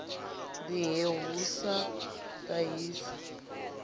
ḓi he hu sa ṱahise